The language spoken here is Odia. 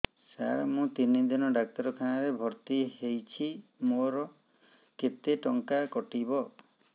ସାର ମୁ ତିନି ଦିନ ଡାକ୍ତରଖାନା ରେ ଭର୍ତି ହେଇଛି ମୋର କେତେ ଟଙ୍କା କଟିବ